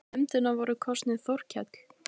Í nefndina voru kosnir Þorkell